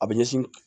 A bɛ ɲɛsin